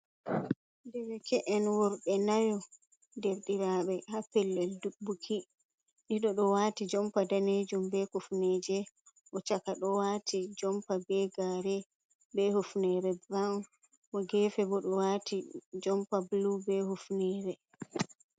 Derake’en worɓe nayu der ɗiraɓe ha pellel buki, ɗiɗo ɗo wati jompa danejum be kufneje, o chaka ɗo wati jompa be gare, be hufnere burawn, mo gefe bo ɗo wati jompa blu be hufnere.